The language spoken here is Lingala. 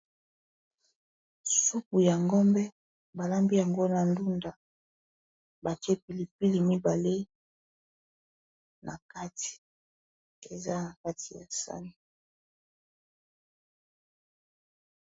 Supu ya ngombe balambi yango na ndunda batiye pilipili mibale na kati eza na kati ya sani.